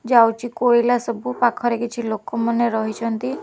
ଯାଉଛି କୋଇଲା ସବୁ ପାଖରେ କିଛି ଲୋକମାନେ ରହିଛନ୍ତି ।